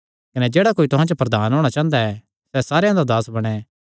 कने जेह्ड़ा कोई तुहां च प्रधान होणा चांह़दा सैह़ सारेयां दा दास बणैं